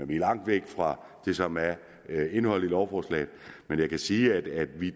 vi langt væk fra det som er indholdet i lovforslaget men jeg kan sige at vi